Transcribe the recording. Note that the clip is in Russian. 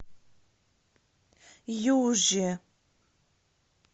юже